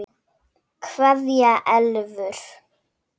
Kveðja Elfur.